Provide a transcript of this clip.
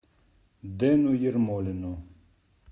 дэну ермолину